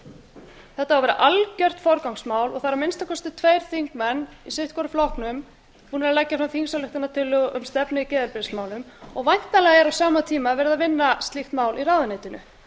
á að vera algjört forgangsmál og það eru að minnsta kosti tveir þingmenn í sitt hvorum flokknum búnir að leggja fram þingsályktunartillögu um stefnu í geðheilbrigðismálum og væntanlega er á sama verið að vinna slíkt mál í ráðuneytinu